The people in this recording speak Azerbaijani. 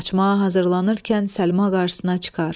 Qaçmağa hazırlanırkən Səlma qarşısına çıxar.